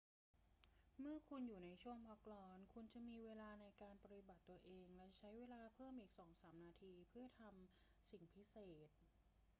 เมื่อคุณอยู่ในช่วงพักร้อน คุณจะมีเวลาในการปรนนิบัติตัวเอง และใช้เวลาเพิ่มอีกสองสามนาทีเพื่อทำสิ่งพิเศษ